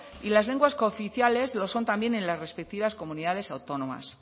y las lenguas cooficiales lo son también en las respectivas comunidades autónomas